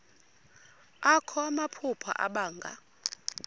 akho namaphupha abanga